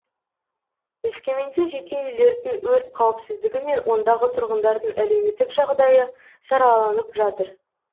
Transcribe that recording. өскеменде жеке үйлердің өрт қауіпсіздігі мен ондағы тұрғындардың әлеуметтік жағдайы сараланып жатыр